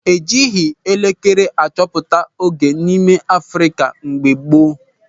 E jighị elekere achọpụta oge n'ime Afrịka mgbe gboo.